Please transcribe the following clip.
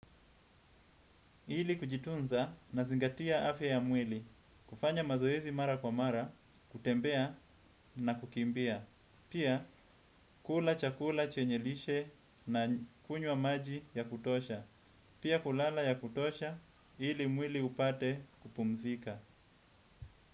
Ili kujitunza nazingatia afya ya mwili. Kufanya mazoezi mara kwa mara, kutembea na kukimbia. Pia kula chakula chenye lishe na kunywa maji ya kutosha. Pia kulala ya kutosha ili mwili upate kupumzika.